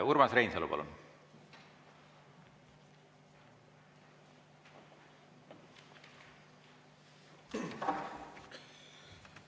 Urmas Reinsalu, palun!